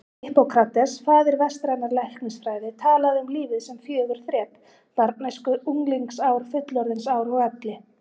Hippókrates, faðir vestrænnar læknisfræði, talaði um lífið sem fjögur þrep: barnæsku, unglingsár, fullorðinsár og elli.